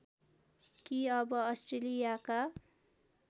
कि अब अस्ट्रेलियाका